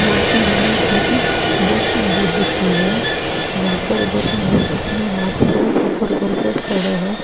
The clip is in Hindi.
मूर्ती हमें एक गौतम बुद्ध की है जहाँ पर गौतम बुद्ध अपने हाथों को उपर कर कर खड़ा है।